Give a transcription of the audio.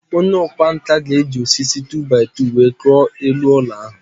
Onye ọkwá nkà ga-eji osisi 2-by-2 wee kụọ elu ụlọ ahụ